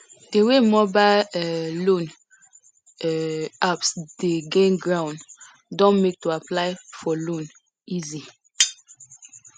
di wey mobile um loan um apps dey gain ground don make to apply for loan easy